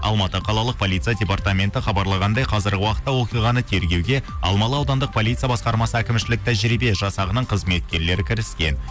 алматы қалалық полиция департаменті хабарлағандай қазіргі уақытта оқиғаны тергеуге алмалы аудандық полиция басқармасы әкімшілік тәжірибе жасағының қызметкерлері кіріскен